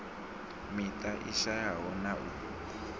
miṱa i shayaho na u